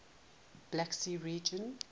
black sea region